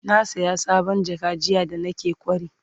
na saya sabon jaka jiya da naje kwari